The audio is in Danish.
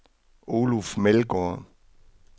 Oluf Meldgaard